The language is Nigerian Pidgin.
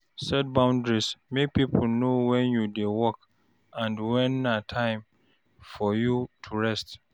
Set boundaries, make pipo know when you dey work and when na time for you to rest